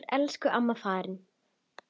Nú er elsku amma farin.